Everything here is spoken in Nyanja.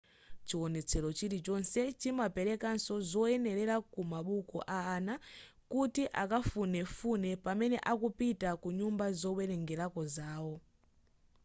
chiwonetsero chilichonse chimaperekanso zoyenera kwamabuku a ana kuti akafunefune pamene akupita ku nyumba zowerengerako zawo